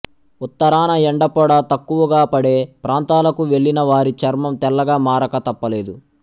ఉత్తరాన ఎండపొడ తక్కువగా పడే ప్రాంతాలకు వెళ్ళినవారి చర్మం తెల్లగా మారక తప్పలేదు